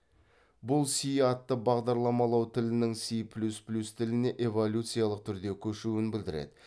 бұл си атты бағдарламалау тілінің си плюс плюс тіліне эволюциялық түрде көшуін білдіреді